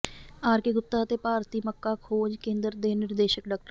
R K Gupta ਅਤੇ ਭਾਰਤੀ ਮੱਕਾ ਖੋਜ ਕੇਂਦਰ ਦੇ ਨਿਰਦੇਸ਼ਕ ਡਾ